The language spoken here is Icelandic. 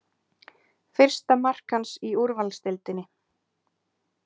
Fyrsta mark hans í úrvalsdeildinni